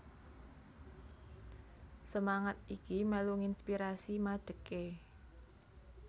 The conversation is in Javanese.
Semangat iki mèlu nginspirasi madegé